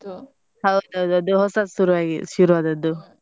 ಹೌದೌದು ಅದು ಹೊಸತ್ ಶುರುವಾಗಿದ್~ ಶುರುವಾದದ್ದು.